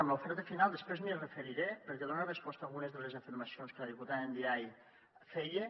a l’oferta final després m’hi referiré perquè dona resposta a algunes de les afirmacions que la diputada ndiaye feia